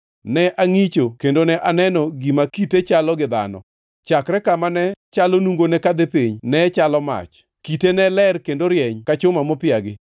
Ne angʼicho, kendo ne aneno gima kite chalo gi dhano. Chakre kama ne chalo nungone kadhi piny, nechalo mach, kite ne ler kendo rieny ka chuma mopiagi.